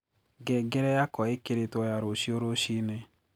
ngengere yakwa ĩkĩrĩtwo ya rũcĩũ rũcĩĩnĩ